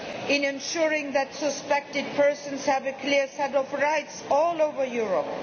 in ensuring that suspected persons have a clear set of rights all over Europe